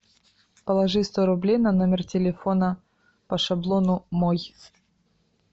положи сто рублей на номер телефона по шаблону мой